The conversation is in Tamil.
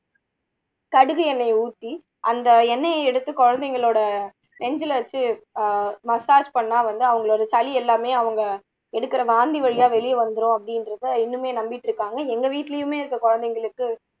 கடுகு எண்ணெயை ஊத்தி அந்த எண்ணெயை எடுத்து குழந்தைங்களோட நெஞ்சுல வச்சு ஆஹ் massage பண்ணா வந்து அவங்களோட சளி எல்லாமே அவங்க எடுக்குற வாந்தி வழியா வெளிய வந்துரும் அப்படின்றதை இன்னுமே நம்பிட்டு இருக்காங்க எங்க வீட்டுலயுமே இருக்க குழந்தைங்களுக்கு